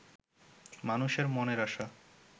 মানুষের মনের আশা